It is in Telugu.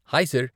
Hi sir .